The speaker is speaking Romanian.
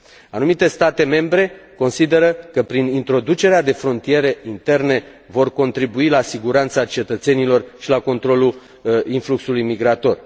Anumite state membre consideră că prin introducerea de frontiere interne vor contribui la siguranța cetățenilor și la controlul influxului migrator.